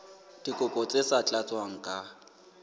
dikopo tse sa tlatswang ka